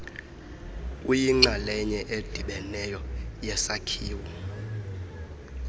uyinxalenye edibeneyo yesakhiwo